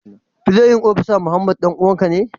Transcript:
playin opisa Muhammad danuwan ka ne?